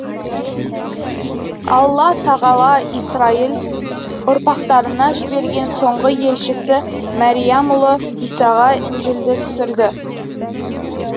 алла тағала исрайыл ұрпақтарына жіберген соңғы елшісі мәриямұлы исаға інжілді түсірді